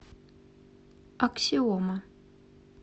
аксиома